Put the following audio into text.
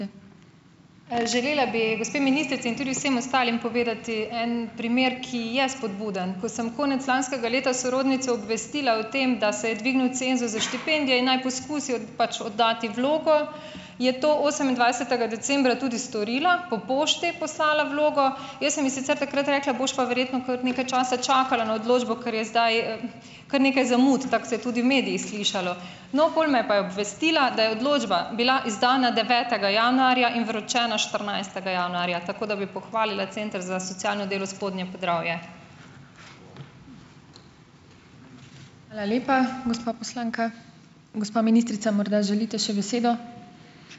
Želela bi gospe ministrici in tudi vsem ostalim povedati en primer, ki je spodbuden. Ko sem konec lanskega leta sorodnico obvestila o tem, da se je dvignil cenzus za štipendije, in naj poskusi pač oddati vlogo, je to osemindvajsetega decembra tudi storila, po pošti je poslala vlogo, jaz sem ji sicer takrat rekla, boš pa verjetno kar nekaj časa čakala na odločbo, ker je zdaj kar nekaj zamud, tako se je tudi v medijih slišalo. No, pol me je pa je obvestila, da je odločba bila izdana devetega januarja in vročena štirinajstega januarja, tako da bi pohvalila Center za socialno delo Spodnje Podravje.